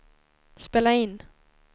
spela in